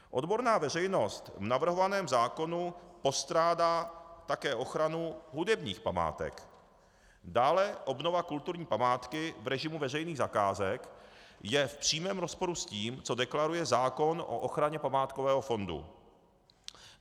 Odborná veřejnost v navrhovaném zákonu postrádá také ochranu hudebních památek, dále obnova kulturní památky v režimu veřejných zakázek je v přímém rozporu s tím, co deklaruje zákon o ochraně památkového fondu.